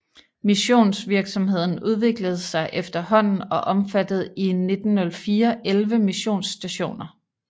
Missionsvirksomheden udviklede sig efterhånden og omfattede i 1904 11 missionsstationer